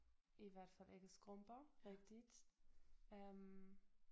I hvert fald ikke skrumper rigtigt øh